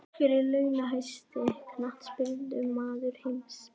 Hver er launahæsti Knattspyrnumaður heims?